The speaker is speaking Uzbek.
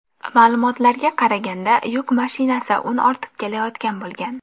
Ma’lumotlarga qaraganda, yuk mashinasi un ortib kelayotgan bo‘lgan.